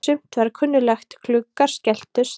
Sumt var kunnuglegt: Gluggar skelltust.